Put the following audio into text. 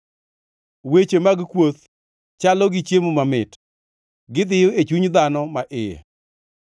Weche mag kuoth chalo gi chiemo mamit; gidhiyo e chuny dhano ma iye.